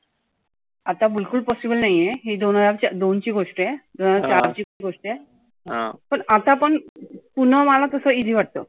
आता बिलकुल possible नाहीए. ही दोन हजार दोन ची गोष्ट आहे. दोन हजार सात ची गोष्ट आहे. पण आता पण पुण मला तसं easy वाटतं.